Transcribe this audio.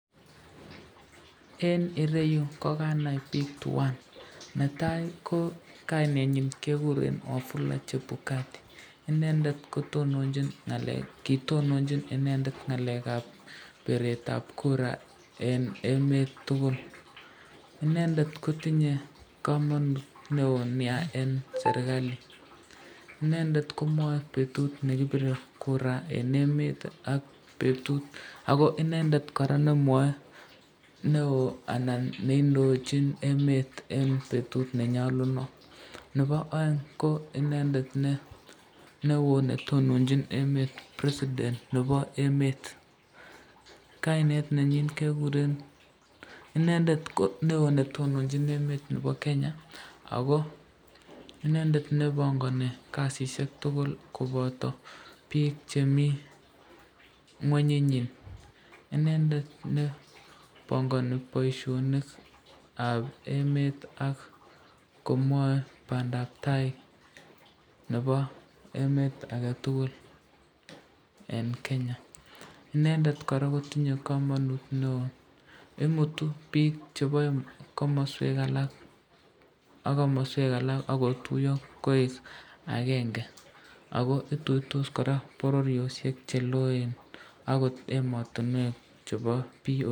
Eng ireyu ko kanai bik tuan , netai kainenyin keguren wafula chebukati inendet ko kitononchin ngalekab biretab kura eng emet tukul, inendet kotinye kamanut neonia eng serikali, inendet komwae betut nekibire kura, eng emet ako inendet koraa nemwae neo anan neindochin emet eng betut nenyalunot, nebo aeng ko inendet neo netononchin emet presiden nebo emet, kainet nenyin kekuren, inendet neo netononchin emet nebo Kenya ako inendet nebongani kasisyek tukul koboto bik chemi ngwony inyin, inendet nebongani boisyonikab emet ak komwae bandabtai nebo emet aketukul eng Kenya, inendet koraa kotinye kamanut neo ,imutu bik chebo komaswek alak ak komaswek alak akotuyo koek akenge, ako ituitos koraa bororyoshek cheloen ,akot ematinwek chebo bii